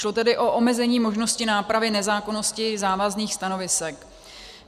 Šlo tedy o omezení možnosti nápravy nezákonnosti závazných stanovisek.